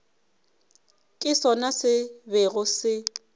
ke sona se bego se